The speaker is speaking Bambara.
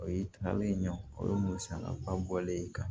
O ye taale ɲɛ o ye musakaba bɔlen ye ka